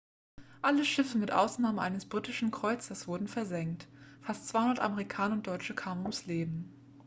alle schiffe mit ausnahme eines britischen kreuzers wurden versenkt fast 200 amerikaner und deutsche kamen ums leben